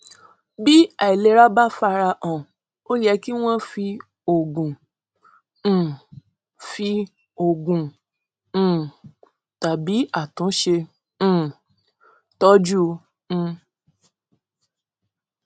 bí àìlera bá farahàn ó yẹ kí wọn fi òògùn um fi òògùn um tàbí àtúnṣe um tọjú un